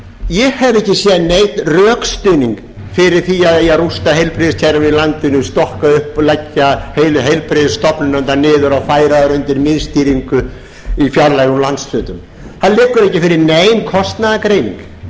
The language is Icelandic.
ég hef ekki séð neinn rökstuðning fyrir því að það eigi að rústa heilbrigðiskerfinu í landinu stokka upp og leggja heilu heilbrigðisstofnanirnar niður og færa þær undir miðstýringu í fjarlægum landshlutum það liggur ekki fyrir nein kostnaðargreining það liggur ekki fyrir